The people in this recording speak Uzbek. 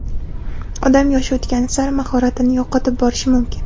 Odam yoshi o‘tgani sari mahoratini yo‘qotib borishi mumkin.